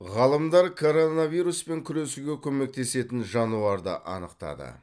ғалымдар коронавируспен күресуге көмектесетін жануарды анықтады